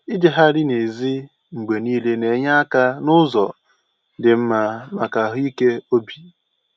Ijegharị n'èzí mgbe niile na-enye aka n'ụzọ dị mma maka ahụike obi